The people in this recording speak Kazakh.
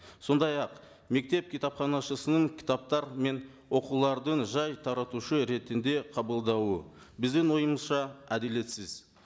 сондай ақ мектеп кітапханашысының кітаптар мен оқулардың жай таратушы ретінде қабылдауы біздің ойымызша әділетсіз